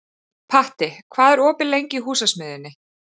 Patti, hvað er opið lengi í Húsasmiðjunni?